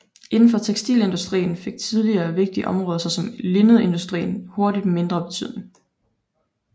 Indenfor tekstilindustrien fik tidligere vigtige områder såsom linnedindustrien hurtigt mindre betydning